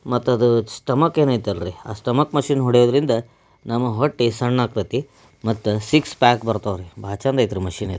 ಮತ ಅದು ಸ್ಟಮಕ್ ಏನ್ ಐತಿಯ್ಲರಿ ಆ ಸ್ಟಮಕ್ ಮಷೀನ್ ಹೊಡೆಯೋದ್ರಿಂದ ನಮ ಹೊಟ್ಟಿ ಸಣ್ಣ ಆಗತೇತಿ ಮತ ಸಿಕ್ಸ್ ಪ್ಯಾಕ್ ಬರ್ತಾವರೀ ಭಾಳ್ ಚೆಂದ ಐತ್ರಿ ಮಷೀನ್ ಇದ.